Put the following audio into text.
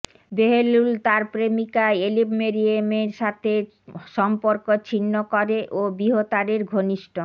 Bahlul তার প্রেমিকা Elif মেরিয়েমের সাথে সম্পর্ক ছিন্ন করে ও বিহতারের ঘনিষ্ট